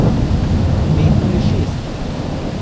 Pet ali šest?